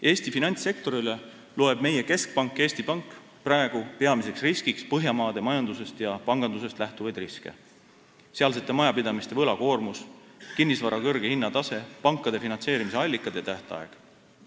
Eesti finantssektorile loeb meie keskpank, Eesti Pank praegu peamiseks riskiks Põhjamaade majandusest ja pangandusest lähtuvaid riske: sealsete majapidamiste võlakoormus, kinnisvara kõrge hinnatase, pankade finantseerimise allikad ja tähtaeg.